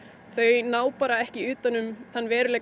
þau ná ekki yfir þann veruleika